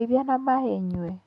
Ndeithia na maaĩ nyue